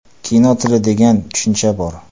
Kino tili degan tushuncha bor.